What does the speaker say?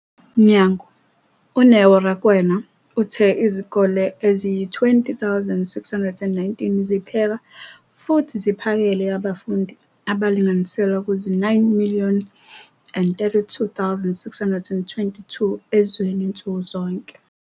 mnyango, uNeo Rakwena, uthe izikole eziyizi-20 619 zipheka futhi ziphakele abafundi abalinganiselwa kuzi-9 032 622 ezweni nsuku zonke.